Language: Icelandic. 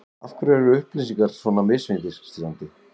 Af hverju er upplýsingar svona misvísandi?